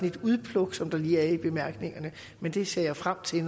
et udpluk som lige er med i bemærkningerne men det ser jeg frem til at